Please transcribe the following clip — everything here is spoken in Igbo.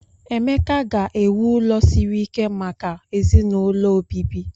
Emeka ga-ewu ụlọ siri ike maka ezinaụlọ obibi.